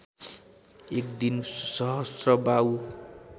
एक दिन सहस्त्रबाहु